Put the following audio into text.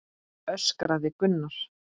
öskraði Gunnar.